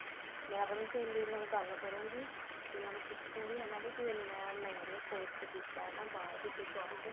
ਮੈਂ ਆਪਣੀ ਸਹੇਲੀ ਨਾਲ ਗੱਲ ਕਰੁਂਗੀ ਵੀ ਉਹਨੂੰ ਪੁੱਛੂਗੀ ਹਨਾ ਵੀ ਤੂੰ ਇੰਨਾ ਮਹਿੰਗਾ course ਕੀਤਾ ਨਾ ਬਾਹਰ ਕਿਸੇ shop ਤੇ